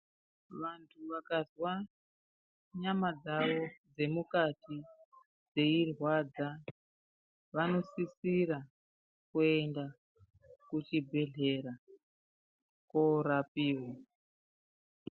Vanhu vakazwa nyama dzavo dzemukati dzeirwadza vanosisira kuenda kuzvibhedhlera korapiwa.